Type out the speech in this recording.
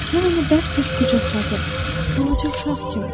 Mən onu bərk-bərk qucaqladım, balaca uşaq kimi.